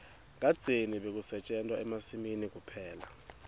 kadzeni bekusetjentwa emasimini kuphela